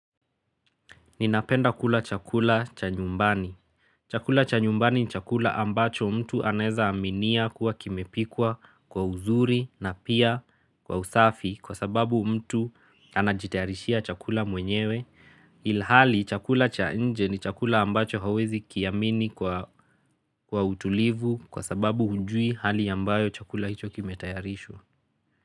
Ninapenda kula chakula cha nyumbani. Chakula cha nyumbani ni chakula ambacho mtu anaweza aminia kuwa kimepikwa kwa uzuri na pia kwa usafi kwa sababu mtu anajitayarishia chakula mwenyewe. Ilhali chakula cha nje ni chakula ambacho hauwezi kiamini kwa kwa utulivu kwa sababu hujui hali ambayo chakula hicho kimetayarishwa.